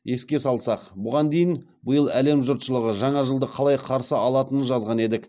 еске салсақ бұған дейін биыл әлем жұртшылығы жаңа жылды қалай қарсы алатынын жазған едік